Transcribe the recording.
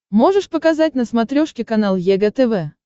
можешь показать на смотрешке канал егэ тв